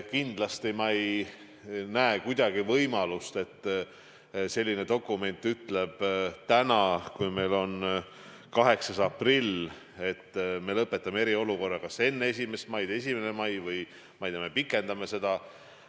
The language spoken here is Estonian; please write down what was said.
Samas ma ei näe kuidagi võimalust, et selline dokument ütleb täna, kui meil on 8. aprill, et me lõpetame eriolukorra kas enne 1. maid, 1. mail või, ma ei tea, me pikendame seda.